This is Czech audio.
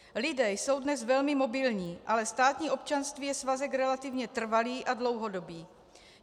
Lidé jsou dnes velmi mobilní, ale státní občanství je svazek relativně trvalý a dlouhodobý.